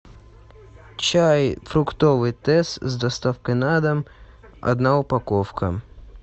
чай фруктовый тесс с доставкой на дом одна упаковка